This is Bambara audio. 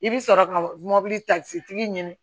I bɛ sɔrɔ ka mobili ta sotigi ɲini